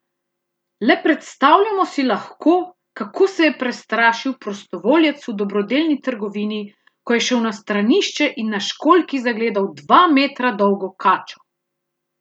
Le predstavljamo si lahko, kako se je prestrašil prostovoljec v dobrodelni trgovini, ko je šel na stranišče in na školjki zagledal dva metra dolgo kačo!